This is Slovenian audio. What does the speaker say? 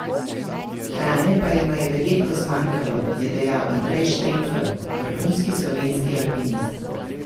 Hrane pa jima je verjetno zmanjkalo je dejal Andrej Štremfelj, vrhunski slovenski alpinist.